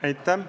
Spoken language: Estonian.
Aitäh!